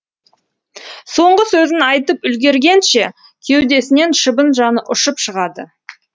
соңғы сөзін айтып үлгергенше кеудесінен шыбын жаны ұшып шығады